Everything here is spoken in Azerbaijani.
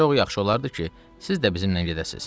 Çox yaxşı olardı ki, siz də bizimlə gedəsiniz.